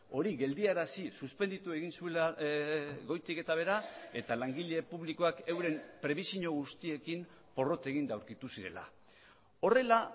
hori geldiarazi suspenditu egin zuela goitik eta behera eta langile publikoak euren prebisio guztiekin porrot eginda aurkitu zirela horrela